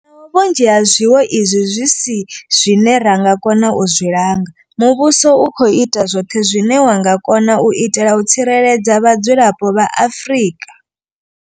Naho vhunzhi ha zwiwo izwi zwi si zwine ra nga kona u zwi langa, muvhuso u khou ita zwoṱhe zwine wa nga kona u itela u tsireledza vhadzulapo vha Afrika.